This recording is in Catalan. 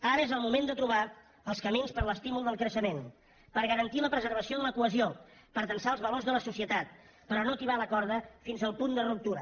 ara és el moment de trobar els camins per a l’estímul del creixement per garantir la preservació de la cohesió per tensar els valors de la societat però no tibar la corda fins al punt de ruptura